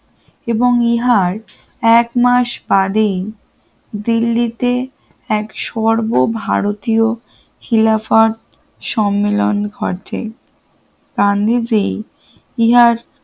এবং নিহার একমাস বাদেই দিল্লিতে এক সর্বভারতীয় খিলাফাত সম্মেলন ঘটে ই হিয়ার